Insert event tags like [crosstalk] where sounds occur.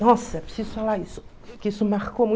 Nossa, preciso falar isso. Que isso marcou [unintelligible]